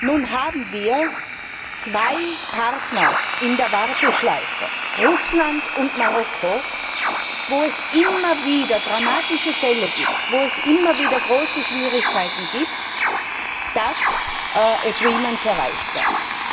Nun haben wir zwei Partner in der Warteschleife Russland und Marokko, wo es immer wieder dramatische Fälle gibt und wo es immer wieder große Schwierigkeiten gibt, dass Übereinkommen erreicht werden.